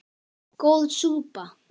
Góð súpa